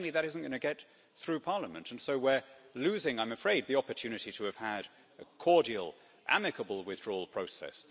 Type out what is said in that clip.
Plainly, that isn't going to get through Parliament, and so we're losing I'm afraid the opportunity to have had a cordial, amicable withdrawal process.